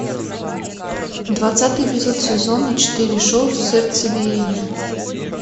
двадцатый эпизод сезона четыре шоу сердцебиение